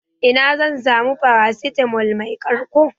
Ina zan samu paracetamol mai ƙarko?